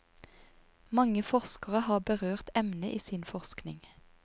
Mange forskere har berørt emnet i sin forskning.